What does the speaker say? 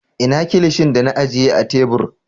Ina Kilishin da na ajiye a tebur?